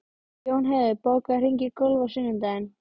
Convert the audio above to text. Jónheiður, bókaðu hring í golf á sunnudaginn.